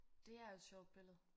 Det er et sjovt billede